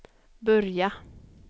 börja